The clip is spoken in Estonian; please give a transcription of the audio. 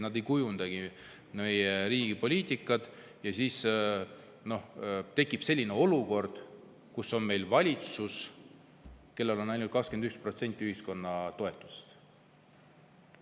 Nad ei kujundagi meie riigi poliitikat ja siis tekib selline olukord, kus on meil valitsus, kellel on ainult 21% ühiskonna toetus.